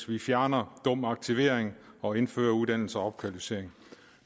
vi fjerner dum aktivering og indfører uddannelse og opkvalificering